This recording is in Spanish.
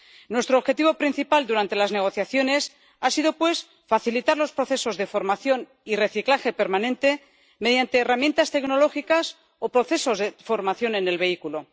Nuestro objetivo principal durante las negociaciones ha sido, pues, facilitar los procesos de formación y reciclaje permanente mediante herramientas tecnológicas o procesos de formación en el vehículo.